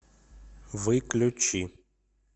выключи